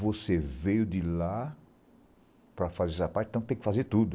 Você veio de lá para fazer essa parte, então tem que fazer tudo.